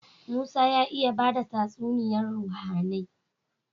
Musa ya iya bada tatsuniyar ruhAnai